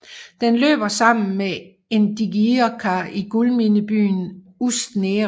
Den løber sammen med Indigirka i guldminebyen Ust Nera